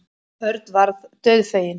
Örn varð dauðfeginn.